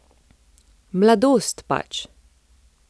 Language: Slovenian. Mladost pač.